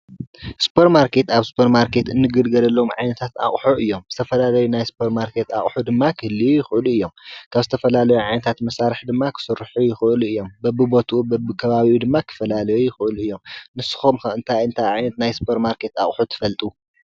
ሱፐር ማርኬት ኣብ ሱፐር ማርኬት እንግልገለሎም ዓይነታት ኣቑሑ እዮም። ዝተፈላለዩ ናይ ሱፐር ማርኬት ኣቑሑ ድማ ክህልዩ ይኽእሉ እዮም። ካብ ዝተፈላለዩ ዓይነታት መሳርሒ ድማ ክስርሑ ይኽእሉ እዮም። በብቦትኡ በብከባቢኡ ድማ ክፈላለዩ ይኽእሉ እዮም። ንስኹም ከ እንታይ እንታይ ዓይነት ናይ ሱፐር ማርኬት ኣቑሑ ትፈልጡ?